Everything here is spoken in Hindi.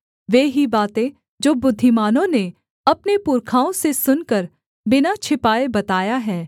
वे ही बातें जो बुद्धिमानों ने अपने पुरखाओं से सुनकर बिना छिपाए बताया है